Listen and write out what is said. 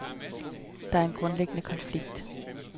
Der er en grundlæggende konflikt.